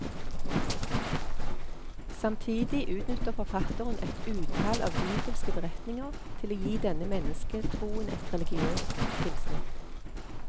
Samtidig utnytter forfatteren et utall av bibelske beretninger til å gi denne mennesketroen et religiøst tilsnitt.